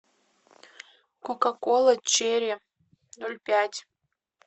кока кола черри ноль пять